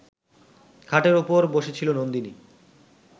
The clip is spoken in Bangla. খাটের ওপর বসেছিল নন্দিনী